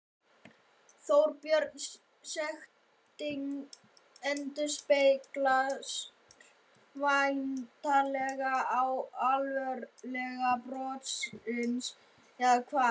Þorbjörn, sektin endurspeglar væntanlega alvarleika brotsins, eða hvað?